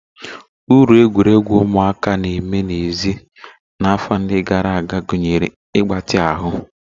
Uru egwuregwu ụmụaka na-eme n'èzí n'afọ ndị gara aga gụnyere mgbatị ahụ